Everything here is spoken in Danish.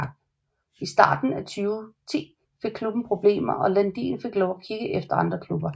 I starten af 2010 fik klubben problemer og Landin fik lov til at kigge efter andre klubber